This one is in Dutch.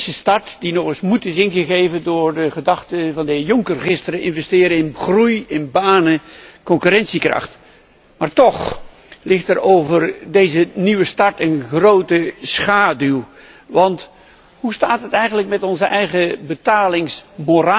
Een frisse start die nog eens moed is ingegeven door de gedachten van de heer Juncker gisteren investeren in groei, in banen, in concurrentiekracht. Maar toch ligt er over deze nieuwe start een grote schaduw, want hoe staat het eigenlijk met onze eigen betalingsmoraal?